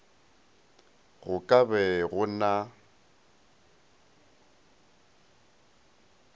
go ka be go na